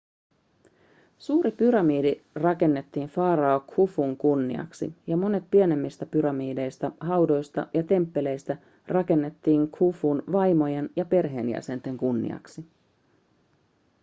suuri pyramidi rakennettiin farao khufun kunniaksi ja monet pienemmistä pyramideista haudoista ja temppeleistä rakennettiin khufun vaimojen ja perheenjäsenten kunniaksi